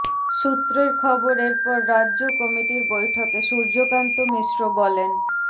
সূত্রের খবর এরপর রাজ্য কমিটির বৈঠকে সূর্যকান্ত মিশ্র বলেন